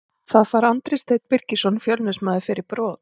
Það fær Andri Steinn Birgisson Fjölnismaður fyrir brot.